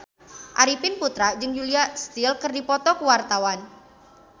Arifin Putra jeung Julia Stiles keur dipoto ku wartawan